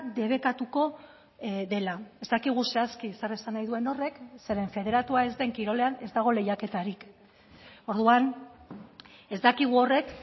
debekatuko dela ez dakigu zehazki zer esan nahi duen horrek zeren federatua ez den kirolean ez dago lehiaketarik orduan ez dakigu horrek